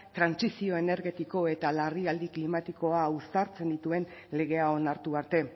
trantsizio energetikoa eta larrialdi klimatikoa uztartzen dituen legea onartu arte